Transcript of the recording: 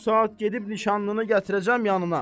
Bu saat gedib nişanlını gətirəcəm yanına.